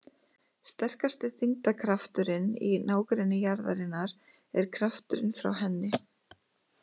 Sterkasti þyngdarkrafturinn í nágrenni jarðarinnar er krafturinn frá henni.